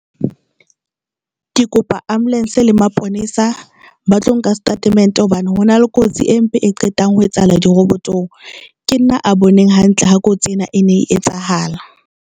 Ke kopa ambulance le maponesa ba tlo nka statement hobane hona le kotsi empe e qetang ho etsahala. Dirobotong ke nna a boneng hantle ha kotsi ena e ne e etsahala.